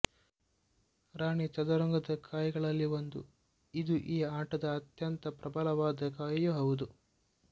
ರಾಣಿ ಚದುರಂಗದ ಕಾಯಿಗಳಲ್ಲಿ ಒಂದು ಇದು ಈ ಆಟದ ಅತ್ಯಂತ ಪ್ರಬಲವಾದ ಕಾಯಿಯೂ ಹೌದು